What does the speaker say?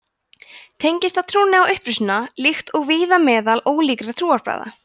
tengist það trúnni á upprisuna líkt og víða meðal ólíkra trúarbragða